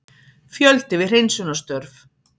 Fjöldi við hreinsunarstörf